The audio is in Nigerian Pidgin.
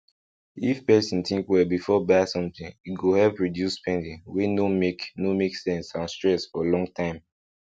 if person think well before buy something e go help reduce spending wey no make no make sense and stress for long time